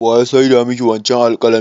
Wa ya saida ma ki wancen alƙalamin?